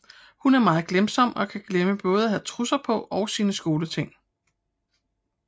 Hun er meget glemsom og kan glemme både at have trusser på og sine skoleting